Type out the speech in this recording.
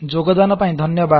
ଯୋଗଦାନ ପାଇଁ ଧନ୍ୟବାଦ